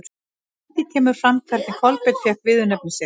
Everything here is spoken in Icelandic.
Hvergi kemur fram hvernig Kolbeinn fékk viðurnefni sitt.